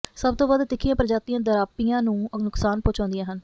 ਸਭ ਤੋਂ ਵੱਧ ਤਿੱਖੀਆਂ ਪ੍ਰਜਾਤੀਆਂ ਡਰਾਪੀਆਂ ਨੂੰ ਨੁਕਸਾਨ ਪਹੁੰਚਾਉਂਦੀਆਂ ਹਨ